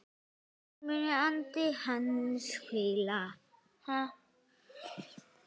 Þar mun andi hans hvíla.